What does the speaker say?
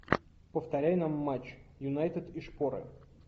повторяй нам матч юнайтед и шпоры